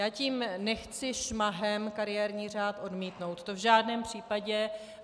Já tím nechci šmahem kariérní řád odmítnout, to v žádném případě.